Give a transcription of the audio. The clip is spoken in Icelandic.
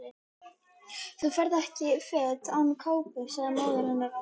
Þú ferð ekki fet án kápu sagði móðir hennar ákveðin.